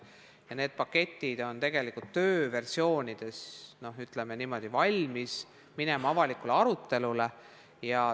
Kõik need paketid on tegelikult tööversioonides ja valmis minema avalikule arutelule.